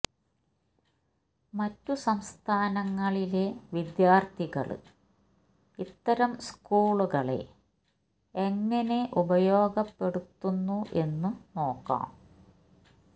മറ്റു സംസ്ഥാനങ്ങളിലെ വിദ്യാര്ത്ഥികള് ഇത്തരം സ്കൂളുകളെ എങ്ങനെ ഉപയോഗപ്പെടുത്തുന്നു എന്നു നോക്കാം